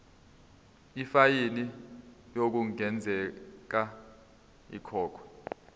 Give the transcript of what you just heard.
ifayini okungenzeka ikhokhwe